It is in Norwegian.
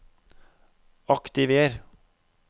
aktiver